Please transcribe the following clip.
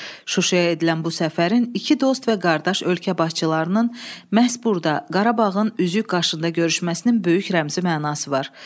Şuşaya edilən bu səfərin iki dost və qardaş ölkə başçılarının məhz burda Qarabağın üzük qaşında görüşməsinin böyük rəmzi mənası var.